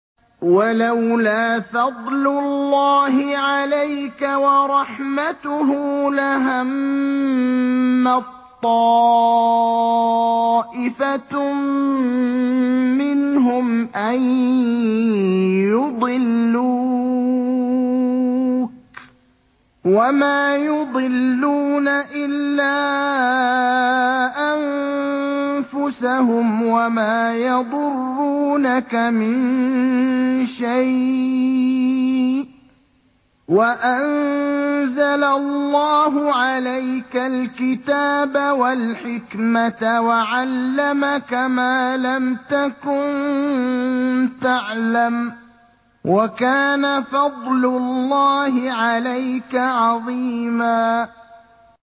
وَلَوْلَا فَضْلُ اللَّهِ عَلَيْكَ وَرَحْمَتُهُ لَهَمَّت طَّائِفَةٌ مِّنْهُمْ أَن يُضِلُّوكَ وَمَا يُضِلُّونَ إِلَّا أَنفُسَهُمْ ۖ وَمَا يَضُرُّونَكَ مِن شَيْءٍ ۚ وَأَنزَلَ اللَّهُ عَلَيْكَ الْكِتَابَ وَالْحِكْمَةَ وَعَلَّمَكَ مَا لَمْ تَكُن تَعْلَمُ ۚ وَكَانَ فَضْلُ اللَّهِ عَلَيْكَ عَظِيمًا